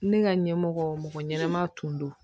Ne ka ɲɛmɔgɔ mɔgɔ ɲɛnama tun don